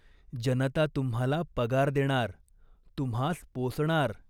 जनता तुम्हाला पगार देणार, तुम्हास पोसणार.